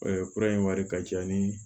kura in wari ka ca ni